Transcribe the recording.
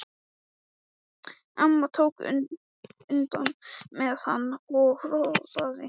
Amma tók utan um hana og róaði hana.